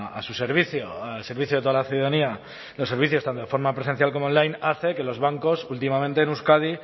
a su servicio al servicio de toda la ciudadanía los servicios tanto de forma presencial como online hace que los bancos últimamente en euskadi